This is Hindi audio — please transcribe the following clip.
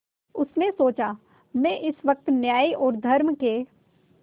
उसने सोचा मैं इस वक्त न्याय और धर्म के